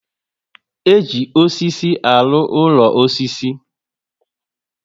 E ji osisi alụ úlọ osisi